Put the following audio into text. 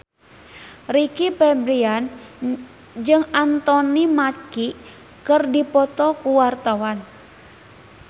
Rizky Febian jeung Anthony Mackie keur dipoto ku wartawan